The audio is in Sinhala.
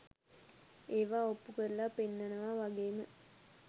ඒවා ඔප්පු කරලා පෙන්නනවා වගේ ම